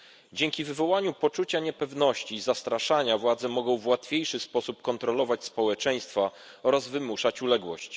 Dzięki wywoływaniu poczucia niepewności i zastraszaniu władze mogą w łatwiejszy sposób kontrolować społeczeństwa oraz wymuszać uległość.